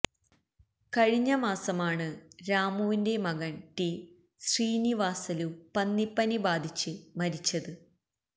കഴിഞ്ഞ മാസമാണ് രാമുവിന്റെ മകന് ടി ശ്രീനിവാസലു പന്നി പനി ബാധിച്ച് മരിച്ചത്